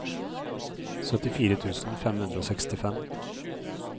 syttifire tusen fem hundre og sekstifem